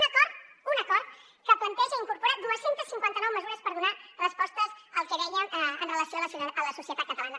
un acord que planteja i incorpora dos cents i cinquanta nou mesures per donar respostes al que dèiem amb relació a la societat catalana